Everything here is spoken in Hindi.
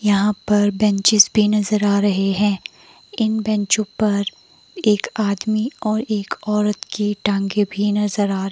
यहां पर बेंचेस भी नजर आ रहे हैं इन बैंचों पर एक आदमी और एक औरत की टांगे भी नजर आ--